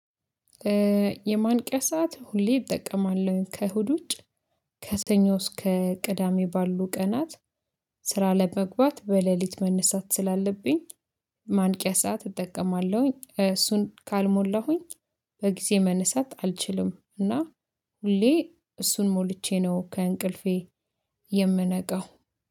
የማንቂያ ሰዓት ሁሌ እጠቀማለሁኝ ከእሁድ ውጭ ከሰኞ እስከ ቅዳሜ ባሉ ቀናት። ስራ ለመግባት በሌሊት መነሳት ስላለብኝ። ማንቂያ ሰዓት እጠቀማለሁኝ እሱን ካልሞላሁኝ። በጊዜ መነሳት አልችልም እና ሁሌ እሱን ሞልቼ ነው ከእንቅልፌ የምነቃው